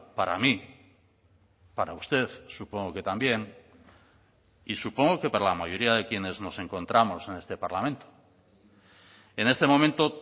para mí para usted supongo que también y supongo que para la mayoría de quienes nos encontramos en este parlamento en este momento